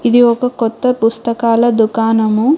ఇది ఒక కొత్త పుస్తకాల దుకాణము.